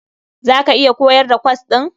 Za ka iya koyar da kwas ɗin?